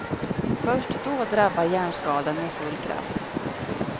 Först då drabbar hjärnskadan med full kraft.